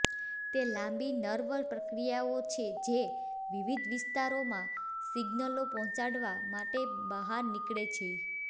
તે લાંબી નર્વ પ્રક્રિયાઓ છે જે વિવિધ વિસ્તારોમાં સિગ્નલો પહોંચાડવા માટે બહાર નીકળે છે